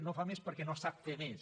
no fa més perquè no sap fer més